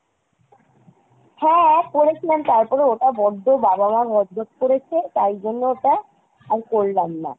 হ্যাঁ, করেছিলাম তারপরে ওটা বড্ডো বাবা মা গজগজ করেছে তাই জন্য ওটা আর করলাম না।